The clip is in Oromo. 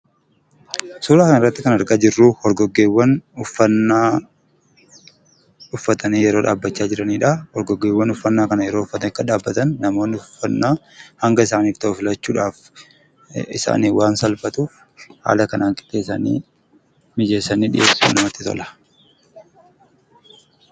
Suuraa kanarratti kan argaa jirru horgoggeewwan uffannaa uffatanii yeroo dhaabbachaa jiranidha. Horgoggeewwan uffannaa kana akka uffatanii dhaabbatan uffannaa hanga isaaniif ta'u filachuudhaaf isaaniin waan saalfatuuf haala kanaan mijeessanii dhiyeessu jechuudha baay'ee namatti tola.